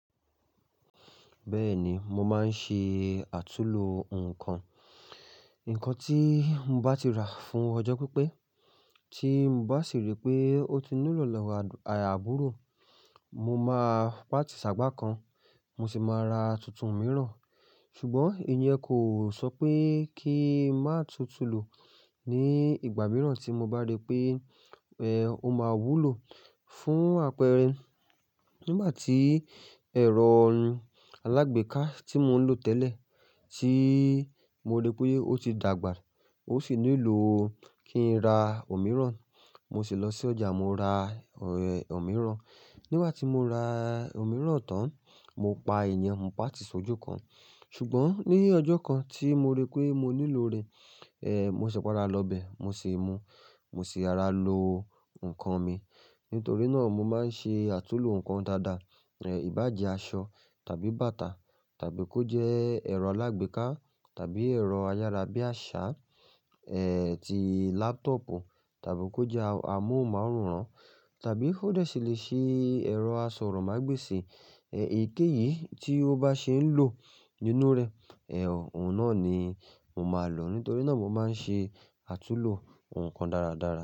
Bẹ́ẹ̀ni, mo máa ń ṣe àtúlo nǹkan. Nǹkan tí mo bá ti rà fún ọjọ́ pípẹ́ tí mo bá sì rí pé ó ti nílò lọ́wọ́ àya aburọ̀, mo máa pa àti sàgbá kan. Mo sì máa ra tuntun mìíràn. Ṣùgbọ́n ìyẹn kò sọ pé kí má tutùlò ní ìgbà mìíràn tí mo bá rí pé ẹ̀ ó máa wúlò fún àpẹẹrẹ nígbà tí ẹ̀rọ alágbèéká tí mò ń lò tẹ́lẹ̀ tí mo rí pé ó ti dàgbà, ó sì nílò kí n ra òmíràn. Mo sì lọ sí ọjà, mo ra ẹ̀ òmíràn. Nígbà tí mo ra òmíràn tán, mo pa ẹ̀yẹn, mo pa ti sójú kan. Ṣùgbọ́n ní ọjọ́ kan tí mo rí pé mo nílò rẹ̀, ẹ́ mo ṣi páda lọ bẹ̀, mo sì mú, mo sì hara lo nǹkan mi. Nítorí náà mo máa ń ṣe àtúlo nǹkan dáadáa. Ẹ̀ ìbàjẹ́ aṣọ tàbí bàtà tàbí kó jẹ́ ẹ̀rọ alágbèéká tàbí ẹ̀rọ ayárabíàṣá, ẹ́ ti lápútọ̀pù tàbí kó jẹ́ amóhunmáwòrán tàbí kò dẹ̀ sì lè ṣe ẹ̀rọ asọ̀rọ̀mágbèsì. Ẹ̀yikéyìí tí ó bá ṣe ń lò nínú rẹ̀, ẹ́ òun náà ni mo máa lò. Nítorí náà mo máa ń ṣe àtúlo nǹkan dáradára.